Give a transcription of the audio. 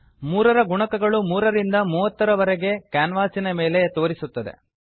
ಮೂರರ ಗುಣಕಗಳು 3 ರಿಂದ 30 ರವರೆಗೆ ಕ್ಯಾನ್ವಾಸಿನ ಮೇಲೆ ತೋರಿಸುತ್ತದೆ